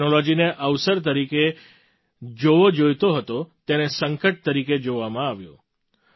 જે ટૅક્નૉલૉજીને અવસર તરીકે જોવો જોઈતો હતો તેને સંકટ તરીકે જોવામાં આવ્યો